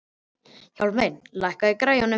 Hjálmey, lækkaðu í græjunum.